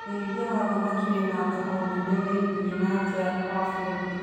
Ũrĩithia wa thamaki wĩna thoko nene thĩini na nja wa bũrũri.